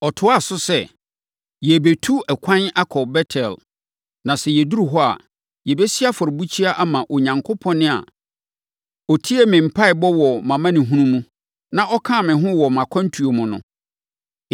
Ɔtoaa so sɛ, “Yɛrebɛtu ɛkwan akɔ Bet-El. Na sɛ yɛduru hɔ a, yɛbɛsi afɔrebukyia ama Onyankopɔn a ɔtiee me mpaeɛbɔ wɔ mʼamanehunu mu, na ɔkaa me ho wɔ mʼakwantuo mu no.”